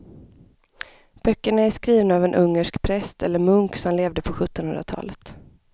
Böckerna är skrivna av en ungersk präst eller munk som levde på sjuttonhundratalet.